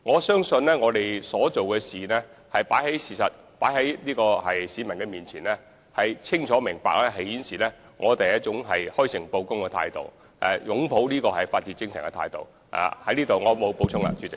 相信我們的行動是事實擺在市民面前，一切清楚明白，足可顯示我們是以開誠布公、擁抱法治精神的態度行事。